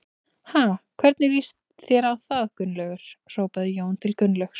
Ha, hvernig líst þér á það Gunnlaugur? hrópaði Jón til Gunnlaugs.